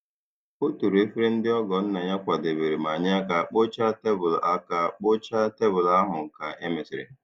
O toro efere ndị ọgọ nna ya kwadebere ma nye aka kpochaa tebụl aka kpochaa tebụl ahụ ka e mesịrị.